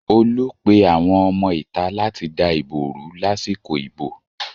Olú pe àwọn ọmọ ìta láti dá ìbò rú lásìkò ìbò